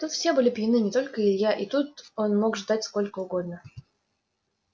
тут все были пьяны не только илья и тут он мог ждать сколько угодно